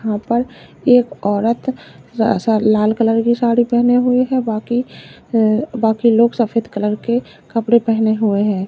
यहां पर एक औरत लाल कलर की साड़ी पहने हुए है बाकी अह बाकी लोग सफेद कलर के कपड़े पहने हुए हैं।